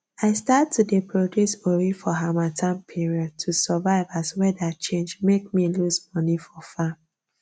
i start to dey produce ori for harmattan period to survive as weather change make me lose money for farm